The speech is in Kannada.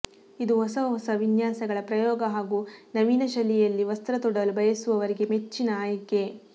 ಇದು ಹೊಸ ಹೊಸ ವಿನ್ಯಾಸಗಳ ಪ್ರಯೋಗ ಹಾಗೂ ನವೀನ ಶೈಲಿಯಲ್ಲಿ ವಸ್ತ್ರ ತೊಡಲು ಬಯಸುವವರಿಗೆ ಮೆಚ್ಚಿನ ಆಯ್ಕೆ